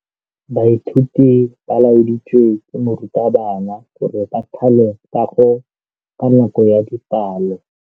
Baithuti ba laeditswe ke morutabana gore ba thale kagô ka nako ya dipalô.